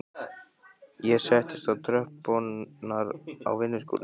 Ég settist á tröppurnar á vinnuskúrnum.